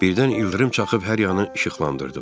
Birdən ildırım çaxıb hər yanı işıqlandırdı.